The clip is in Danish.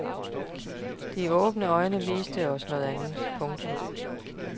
De åbne øjne viste os noget andet. punktum